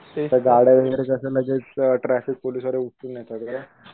आता गाड्या वगैरे कस लगेच ट्राफिक पोलीस उचलून नेतात